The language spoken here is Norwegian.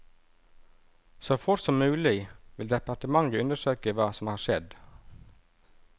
Så fort som mulig vil departementet undersøke hva som har skjedd.